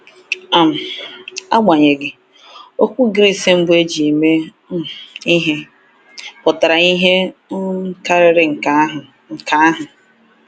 um Agbanyeghị, okwu Gris mbụ e ji mee um ihe pụtara ihe um karịrị nke ahụ. nke ahụ.